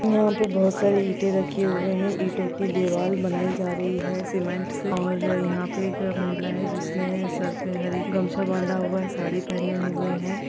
यहा पर बहोत सारी इटे रखे हुए है। ईटों की दीवाल बनाई जा रही है सिमेन्ट से और यहा पे एक महिला है जिसने सर पे हरी गमछा बांधा हुआ है साड़ी पहने हुए है।